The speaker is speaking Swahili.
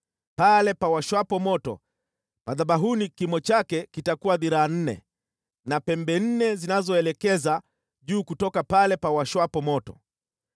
Pale pawashwapo moto madhabahuni kimo chake kitakuwa dhiraa nne, na pembe nne zinazoelekeza juu kutoka pale pawashwapo moto.